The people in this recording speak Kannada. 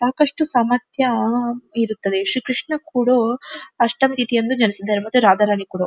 ಸಾಕಷ್ಟು ಸಾಮರ್ಥ್ಯ ಇರುತ್ತದೆ ಶಿಕ್ಷಣ ಕೊಡೋ ಅಷ್ಟಮ್ ಇತಿ ಎಂದು ಜನಿಸಿದರು ಮತ್ತೆ ರಾಧ ರಾಣಿ ಕುಡೋ.